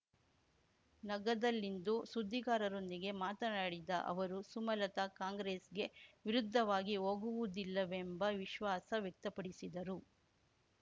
ನಗದಲ್ಲಿಂದು ಸುದ್ದಿಗಾರರೊಂದಿಗೆ ಮಾತನಾಡಿದ ಅವರು ಸುಮಲತಾ ಕಾಂಗ್ರೆಸ್‌ಗೆ ವಿರುದ್ಧವಾಗಿ ಹೋಗುವುದಿಲ್ಲವೆಂಬ ವಿಶ್ವಾಸ ವ್ಯಕ್ತಪಡಿಸಿದರು